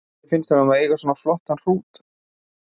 Hvernig finnst honum að eiga svona flottan hrút?